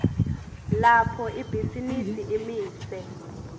lapho ibhizinisi imise